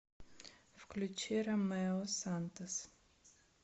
включи ромэо сантос